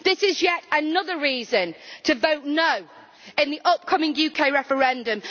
This is yet another reason to vote no' in the upcoming UK referendum.